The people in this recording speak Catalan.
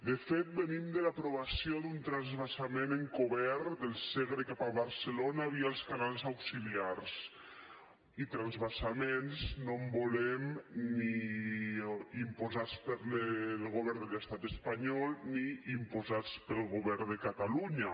de fet venim de l’aprovació d’un transvasament encobert del segre cap a barcelona via els canals auxiliars i de transvasaments no en volem ni imposats pel govern de l’estat espanyol ni imposats pel govern de catalunya